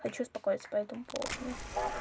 хочу успокоиться по этому поводу